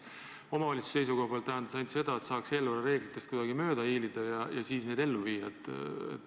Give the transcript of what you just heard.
Omavalitsuse seisukohalt tähendas see ainult seda, et saaks eelarvereeglitest kuidagi mööda hiilida ja siis need ellu viia.